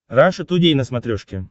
раша тудей на смотрешке